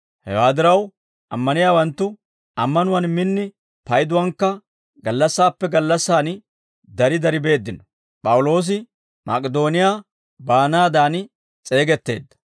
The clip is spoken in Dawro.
Hewaa diraw, ammaniyaawanttu ammanuwaan min, payduwaankka gallassaappe gallassan dari dari beeddino.